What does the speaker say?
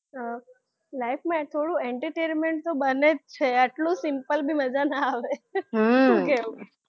હા life માં થોડું entertainment તો બને જ છે યાર આટલું simple બી મજા ના આવે હું શું કહેવું